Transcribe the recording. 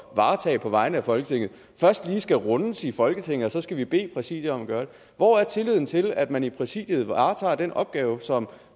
varetage på vegne af folketinget først lige skal rundes i folketinget og så skal vi bede præsidiet om at gøre det hvor er tilliden til at man i præsidiet varetager den opgave som